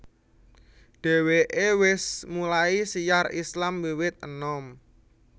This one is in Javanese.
Dheweke wis mulai syiar Islam wiwit enom